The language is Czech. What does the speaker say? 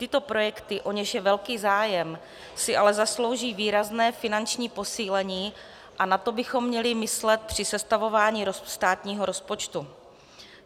Tyto projekty, o něž je velký zájem, si ale zaslouží výrazné finanční posílení a na to bychom měli myslet při sestavování státního rozpočtu.